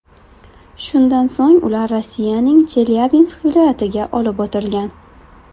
Shundan so‘ng ular Rossiyaning Chelyabinsk viloyatiga olib o‘tilgan.